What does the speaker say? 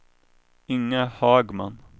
Inga Hagman